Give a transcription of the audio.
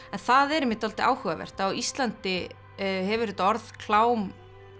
það er einmitt dálítið áhugavert á Íslandi hefur þetta orð klám